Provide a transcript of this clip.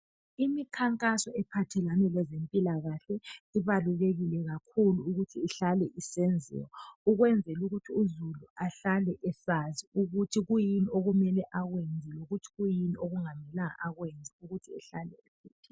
Imikhankaso ephathelane lezempilakahle ibalulekile kakhulu ukuthi ihlale isenziwa ukwenzela ukuthi uzulu ahlale esazi ukuthi kuyini akumele akwenze lokuthi kuyini okungamelanga akwenze ukuze ahlale evikelekile.